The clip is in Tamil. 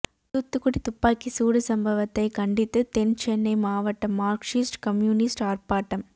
தூத்துக்குடி துப்பாக்கி சூடு சம்பவத்தை கண்டித்து தென் சென்னை மாவட்ட மார்க்சிஸ்ட் கம்யூனிஸ்ட் ஆர்ப்பாட்டம்